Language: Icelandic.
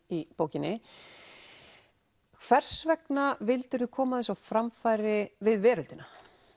í bókinni hvers vegna vildir þú koma þessu á framfæri við veröldina